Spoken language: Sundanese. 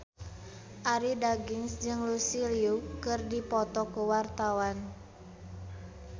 Arie Daginks jeung Lucy Liu keur dipoto ku wartawan